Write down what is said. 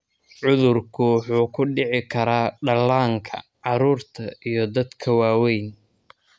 Cudurku wuxuu ku dhici karaa dhallaanka, carruurta, iyo dadka waaweyn.